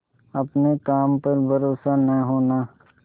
अपने काम पर भरोसा न होना